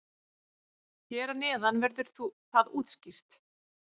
Hér að neðan verður það útskýrt.